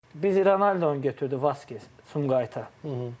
Biz Ronaldonu götürdük Vaskezi Sumqayıta.